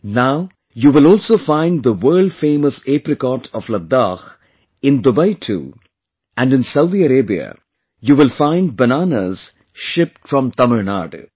Now, you will also find the world famous apricot of Ladakh in Dubai too and in Saudi Arabia, you will find bananas shipped from Tamil Nadu